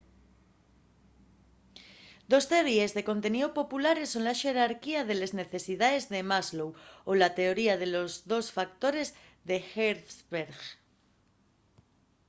dos teoríes de conteníu populares son la xerarquía de les necesidaes de maslow o la teoría de los dos factores d’hertzberg